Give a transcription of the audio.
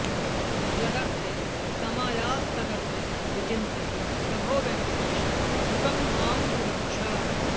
यदर्थे समायास्तदर्थे विचिन्त्य प्रभो वेङ्कटेश द्रुतं मां सुरक्ष